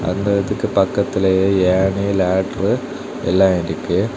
அந்த இதுக்கு பக்கத்திலுயே ஏணி லேட்ரு எல்லா இருக்கு.